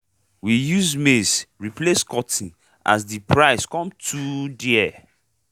we use maize replace cotton as de price come too dare